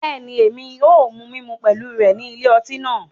Bẹẹni, Èmí o mu mímú pẹlu rẹ ni ilé ọti náà